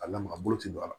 A lamaga bolo ti don a la